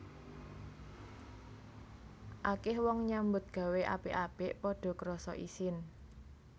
Akeh wong nyambut gawé apik apik padha krasa isin